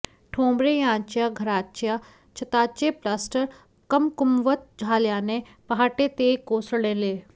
ठोंबरे यांच्या घराच्या छताचे प्लॅस्टर कमकुवत झाल्याने पहाटे ते कोसळले